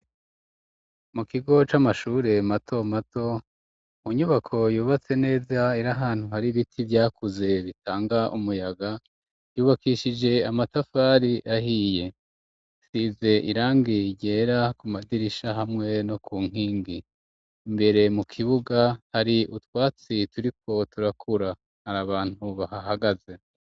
Mu kigo c'amashure mato mato mu nyubako yubatse neza iri ahantu hari ibiti vyakuze bitanga umuyaga ryubakishije amatafari ahiye isize irangi ryera ku madirisha hamwe no ku nkingi imbere mu kibuga hari utwatsi turiko turakura hari abantu bahahagaze.